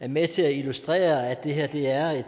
er med til at illustrere at det her